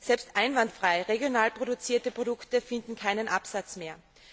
Selbst einwandfrei regional produzierte Produkte finden keinen Absatz mehr.